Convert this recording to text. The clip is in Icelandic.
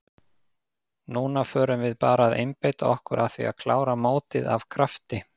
Núna förum við bara að einbeita okkur að því að klára mótið af krafti.